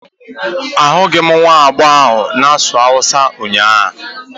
Ahụghị m nwa agbọghọ ahụ na-asụ Hausa ụnyahụ